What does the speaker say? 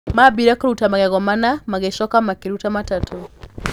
Maambire kũruta magego mana, magĩcoka makĩruta matatũ.